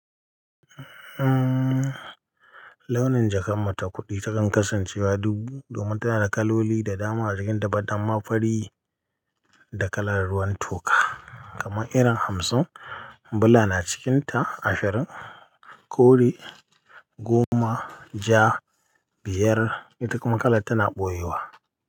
Uhm, launin jakan muta kuɗi ta kan kasancewa dubu domin tana da kaloli da dama a jikin but amma fari da kalar ruwan toka. Kaman irin hamsin bula na cikin ta ashirin, kore goma, ja biyar, ita kuma kalar tana ɓoyewa.